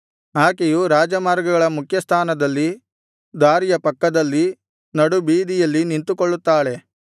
ಆಕೆಯು ರಾಜಮಾರ್ಗಗಳ ಮುಖ್ಯಸ್ಥಾನದಲ್ಲಿ ದಾರಿಯ ಪಕ್ಕದಲ್ಲಿ ನಡುಬೀದಿಯಲ್ಲಿ ನಿಂತುಕೊಳ್ಳುತ್ತಾಳೆ